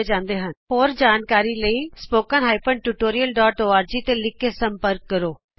ਜਿਆਦਾ ਜਾਣਕਾਰੀ ਲਈ contact at the rate spoken hyphen tutorial dot org contact spoken tutorialਓਰਗ ਤੇ ਲਿਖ ਕੇ ਸੰਪਰਕ ਕਰੋ